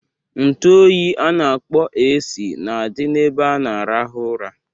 Ntu oyi a na-akpọ AC na-adị n'ebe a na-arahụ ụra.